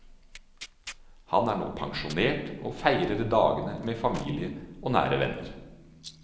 Han er nå pensjonert, og feirer dagen med familie og nære venner.